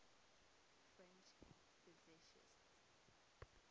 french physicists